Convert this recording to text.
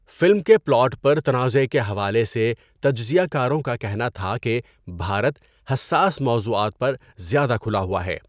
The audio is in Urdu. فلم کے پلاٹ پر تنازعہ کے حوالے سے تجزیہ کاروں کا کہنا تھا کہ بھارت حساس موضوعات پر زیادہ کھلا ہوا ہے۔